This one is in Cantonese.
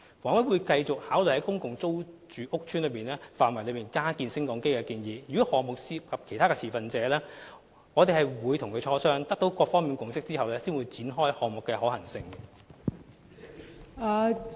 房委會會繼續考慮在公共租住屋邨範圍內加建升降機的建議，如果項目涉及其他持份者，我們會與他們磋商，取得各方的共識後才會展開項目的可行性研究。